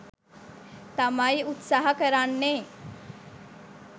තමයි උත්සහ කරන්නේ.